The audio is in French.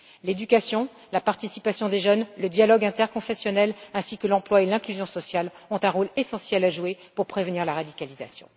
L'éducation, la participation des jeunes, le dialogue interconfessionnel ainsi que l'emploi et l'inclusion sociale ont un rôle essentiel à jouer pour prévenir la radicalisation.